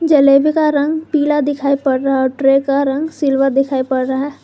जलेबी का रंग पीला दिखाई पड़ रहा है ट्रे का रंग सिल्वर दिखाई पड़ रहा है।